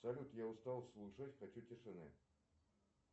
салют я устал слушать хочу тишины